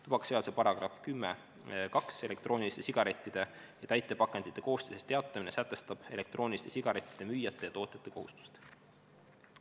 Tubakaseaduse § 102 "Elektrooniliste sigarettide ja täitepakendite koostisest teatamine" sätestab elektrooniliste sigarettide müüjate ja tootjate kohustused.